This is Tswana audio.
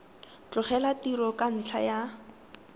tlogela tiro ka ntlha ya